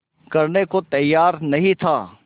करने को तैयार नहीं था